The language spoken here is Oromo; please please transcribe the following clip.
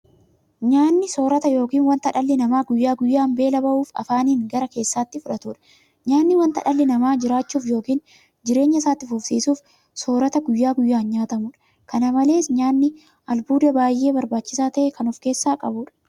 Nyaanni soorota yookiin wanta dhalli namaa guyyaa guyyaan beela ba'uuf afaaniin gara keessaatti fudhatudha. Nyaanni wanta dhalli namaa jiraachuuf yookiin jireenya isaa itti fufsiisuuf soorata guyyaa guyyaan nyaatamudha. Kana malees nyaanni albuuda baay'ee barbaachisaa ta'e kan ofkeessaa qabudha.